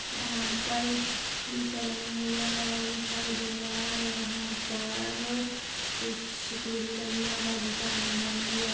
यहां पर एक स्कूल सा बना हुआ दिखाई दे रहा है यहां पर कुछ पेड़ भी लगी है यहां पर बहुत सारा मैदान भी है यहाँ--